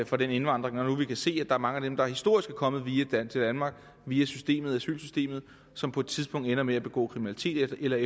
for den indvandring når nu vi kan se at er mange af dem der historisk er kommet til danmark via asylsystemet som på et tidspunkt ender med at begå kriminalitet eller at